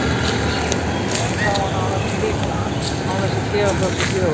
Hún réðst á hann án þess að hika, án þess að gefa frá sér hljóð.